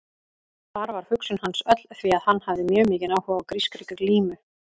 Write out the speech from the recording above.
Þar var hugsun hans öll því að hann hafði mjög mikinn áhuga á grískri glímu.